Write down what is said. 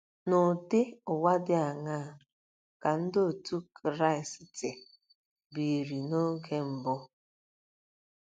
N’ụdị ụwa dị aṅaa ka Ndị Otú Kristi biri n'oge mbụ?